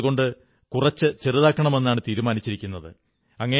അതുകൊണ്ട് കുറച്ച് ചെറുതാക്കണമെന്നാണ് തീരുമാനിച്ചിരിക്കുന്നത്